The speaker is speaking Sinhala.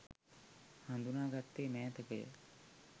හඳුනා ගත්තේ මෑතකය